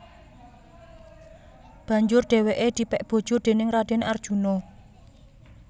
Banjur dheweke dipek bojo déning Raden Arjuna